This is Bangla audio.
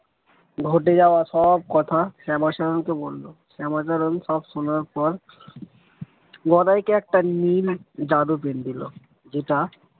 ঘটে যাওয়া সব কথা শ্যামাচরণ কে বলল শ্যামাচরণ সব শোনার পর গদাইকে একটা নীল জাদু pen দিল যেটা।